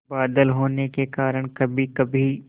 बादल होने के कारण कभीकभी